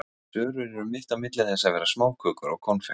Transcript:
Sörur eru mitt á milli þess að vera smákökur og konfekt.